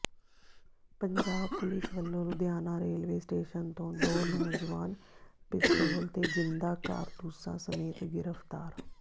Punjab police ਵੱਲੋਂ Ludhiana railway station ਤੋਂ ਦੋ ਨੌਜਵਾਨ ਪਿਸਤੌਲ ਤੇ ਜ਼ਿੰਦਾ ਕਾਰਤੂਸਾਂ ਸਮੇਤ ਗ੍ਰਿਫ਼ਤਾਰ